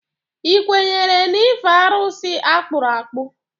Ị kwenyere n'ife arụsị akpụrụ akpụ?